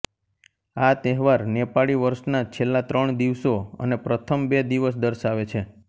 આ તહેવાર નેપાળી વર્ષના છેલ્લા ત્રણ દિવસો અને પ્રથમ બે દિવસ દર્શાવે છે